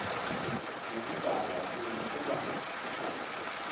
nokudada kum kuba